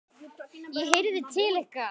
ég heyrði til ykkar!